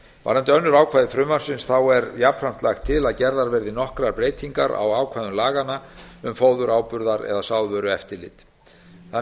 varðandi önnur ákvæði frumvarpsins er jafnframt lagt til að gerðar verði nokkrar breytingar á ákvæðum laganna um fóður áburðar að sáðvörueftirlit þannig er